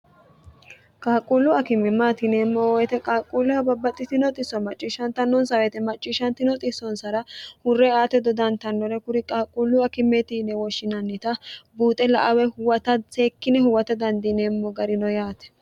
qaaqquullu akimemmaatineemmo woyite qaaqquulleho babbaxxitinoisso macciishshantannonsaweete macciishshantino xissonsara hurre aate dodantannore kuri qaaqquullu akimmeetinne wooshshinannita buuxe la awe huwata seekkine huwata dandiineemmo garino yaate